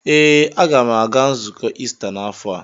Ee, a ga m aga nzukọ Ista n'afọ a.